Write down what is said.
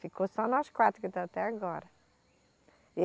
Ficou só nós quatro que está até agora.